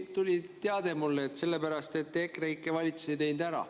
Tuli teade mulle: sellepärast, et EKREIKE valitsus ei teinud seda ära.